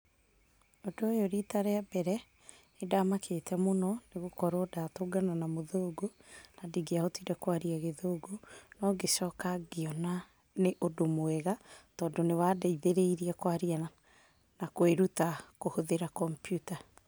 Ũndũ ũyũ rita rĩa mbere, nĩndamakĩte mũno nĩgũkorwo ndatũngana na mũthũngũ na ndingĩahotire kwaria gĩthũngũ. No ngĩcoka ngĩona nĩ ũndũ mwega, tondũ nĩwandeithĩrĩirie kwaria na kwĩruta kũhũthĩra kompiuta.